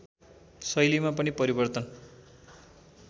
शैलीमा पनि परिवर्तन